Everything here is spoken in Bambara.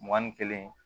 Mugan ni kelen